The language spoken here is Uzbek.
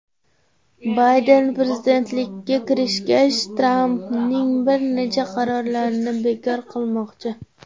Bayden prezidentlikka kirishgach, Trampning bir necha qarorlarini bekor qilmoqchi.